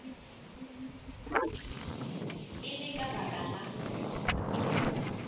e le ka baka la